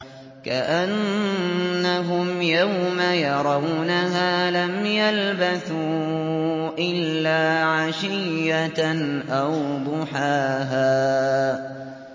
كَأَنَّهُمْ يَوْمَ يَرَوْنَهَا لَمْ يَلْبَثُوا إِلَّا عَشِيَّةً أَوْ ضُحَاهَا